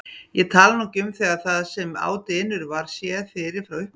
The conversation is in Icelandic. Ég tala nú ekki um þegar það sem á dynur var séð fyrir frá upphafi.